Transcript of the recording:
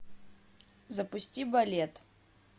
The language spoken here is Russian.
запусти балет